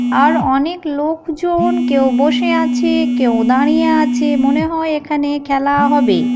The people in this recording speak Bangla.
আর অনেক লোক জন কেউ বসে আছে কেউ দাঁড়িয়ে আছে মনে হয় এখানে খেলা হবে ।